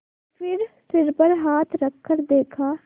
फिर सिर पर हाथ रखकर देखा